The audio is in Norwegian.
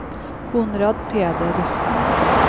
Konrad Pedersen